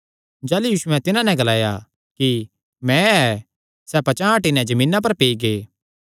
जाह़लू यीशुयैं तिन्हां नैं ग्लाया कि मैं ऐ सैह़ पचांह़ हटी नैं जमीना पर पेई गै